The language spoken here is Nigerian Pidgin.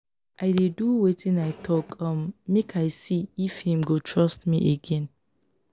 i dey do wetin i tok um make i see if im go trust me again.